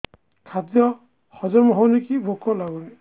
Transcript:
ଖାଦ୍ୟ ହଜମ ହଉନି କି ଭୋକ ଲାଗୁନି